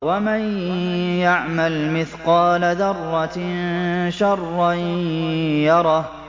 وَمَن يَعْمَلْ مِثْقَالَ ذَرَّةٍ شَرًّا يَرَهُ